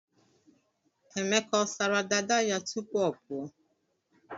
Emeka ọ sara dada ya tupu ọ pụọ?